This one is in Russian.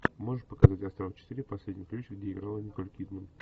можешь показать астрал четыре последний ключ где играла николь кидман